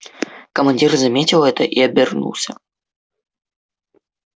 командир заметил это и обернулся